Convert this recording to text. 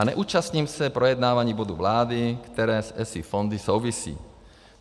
A neúčastním se projednávání bodu vlády, které s ESI fondy souvisí.